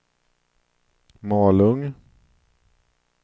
Malung